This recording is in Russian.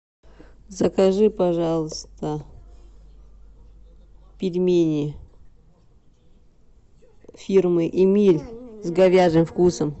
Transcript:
закажи пожалуйста пельмени фирмы эмиль с говяжьим вкусом